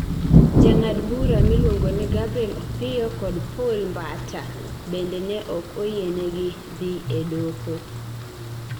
Jang'ad bura miluongo ni Gabriel Opiyo kod Poul Mbata bende ne ok oyienegi dhi e doho.